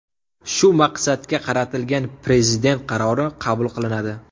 Shu maqsadga qaratilgan Prezident qarori qabul qilinadi.